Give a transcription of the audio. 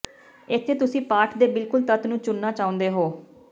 ਇੱਥੇ ਤੁਸੀਂ ਪਾਠ ਦੇ ਬਿਲਕੁਲ ਤੱਤ ਨੂੰ ਚੁਣਨਾ ਚਾਹੁੰਦੇ ਹੋ